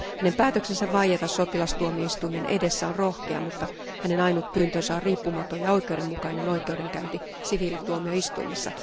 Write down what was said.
Hänen päätöksensä vaieta sotilastuomioistuimen edessä on rohkea, mutta hänen ainut pyyntönsä on riippumaton ja oikeudenmukainen oikeudenkäynti siviilituomioistuimessa.